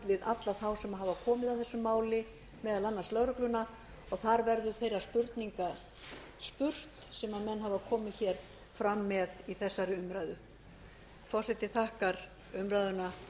við alla þá sem hafa komið að þessu máli meðal annars lögregluna og þar verður þeirra spurninga spurt sem menn hafa komið hér fram með í þessari umræðu forseti þakkar umræðuna